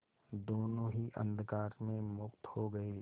दोेनों ही अंधकार में मुक्त हो गए